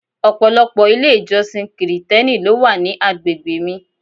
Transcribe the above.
Ọ̀pọ̀lọpọ̀ ilé-ìjọsìn Kirìtẹ́nì ló wà ní àgbègbè mi.